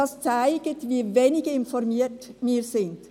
Das zeigt, wie wenig informiert wir sind.